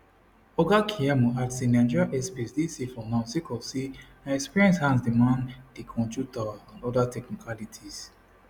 oga keyamo add say nigeria airspace dey safe for now sake of say na experienced hands dey man di control tower and oda technicalities